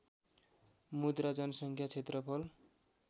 मुद्रा जनसङ्ख्या क्षेत्रफल